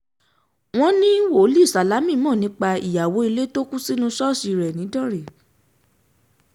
um wọ́n ní wòlíì sálámí mọ́ nípa ìyàwó um ilé tó kù sínú ṣọ́ọ̀ṣì rẹ̀ nìdánrẹ́